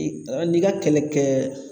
I k n'i ka kɛlɛ kɛɛ